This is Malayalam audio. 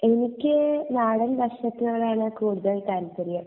എനിക്ക് നടൻ ഭക്ഷണത്തോട് ആണ് കൂടുതൽ താല്പര്യം